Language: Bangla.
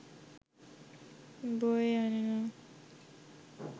বয়ে আনে না